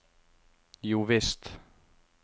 jovisst